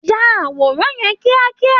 Yà àwòrán yẹn kíákíá!